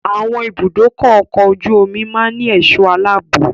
Àwọn ibùdókọ̀ ọkọ̀ ojú omi máa ń ní ẹ̀sọ́ aláàbò.